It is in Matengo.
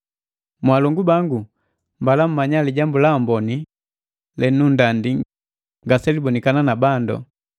Mwalongu bangu, mbala mmanya Lijambu la Amboni lenundandi ngaselibokana na bandu.